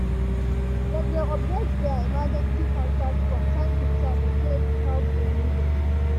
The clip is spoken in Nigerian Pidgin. dem dey update their emergency contact from time to time in case help dey needed.